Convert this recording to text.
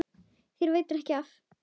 Þér veitir ekki af.